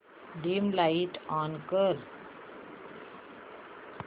dim light on कर